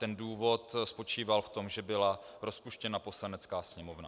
Ten důvod spočíval v tom, že byla rozpuštěna Poslanecká sněmovna.